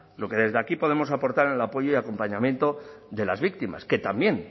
lo que desde aquí podemos aportar el apoyo y acompañamiento de las víctimas que también